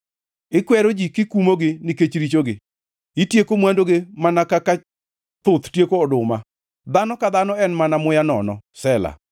Ikwero ji kikumogi nikech richogi; itieko mwandugi mana kaka thuth tieko oduma, dhano ka dhano en mana muya nono. Sela